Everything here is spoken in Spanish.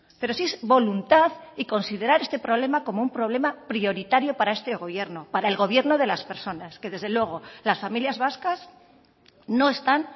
pero si es voluntad y considerar este problema como un problema prioritario para este gobierno para el gobierno de las personas que desde luego las familias vascas no están